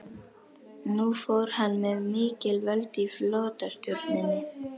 Nú fór hann með mikil völd í flotastjórninni.